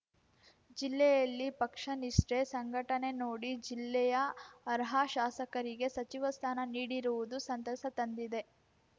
ಜಿಲ್ಲೆಯಲ್ಲಿ ಪಕ್ಷ ನಿಷ್ಠೆ ಸಂಘಟನೆ ನೋಡಿ ಜಿಲ್ಲೆಯ ಅರ್ಹ ಶಾಸಕರಿಗೆ ಸಚಿವ ಸ್ಥಾನ ನೀಡಿರುವುದು ಸಂತಸ ತಂದಿದೆ